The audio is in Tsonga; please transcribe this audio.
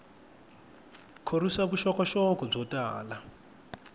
khorwisa vuxokoxoko byo tala